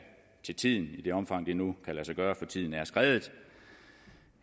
til tiden i det omfang det nu kan lade sig gøre for tiden er skredet